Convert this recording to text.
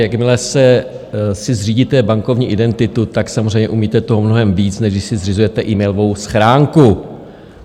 Jakmile si zřídíte bankovní identitu, samozřejmě umíte toho mnohem víc, než když si zřizujete e-mailovou schránku.